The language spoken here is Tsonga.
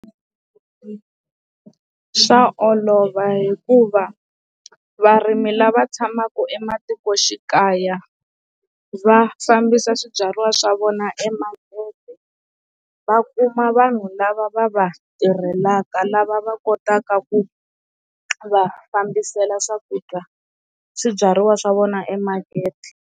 Swa olova hikuva varimi lava tshamaka ematikoxikaya va fambisa swibyariwa swa vona emakete va kuma vanhu lava va va tirhelaka lava va kotaka ku va fambiselo swakudya swibyariwa swa vona emakete.